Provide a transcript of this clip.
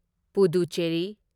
Puducherry